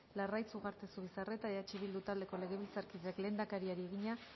larraitz ugarte zubizarreta eh bildu taldeko legebiltzarkideak lehendakariari egina